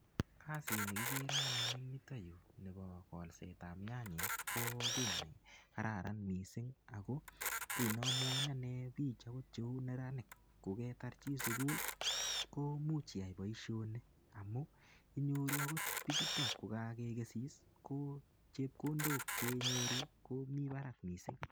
Kasit ne kikere anyun eng yutoyu nebo kolsetab nyanyek, ko kiy ne kararan missing. Ako kiy neamwachini anee biich agot cheu neranik koketar chi sukul, komuch iyai boisoni. Amu, inyoru angot bichuto kokakekesis, ko chepkondok che inyoru, ko mii barak missing.